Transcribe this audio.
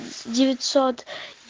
девятьсот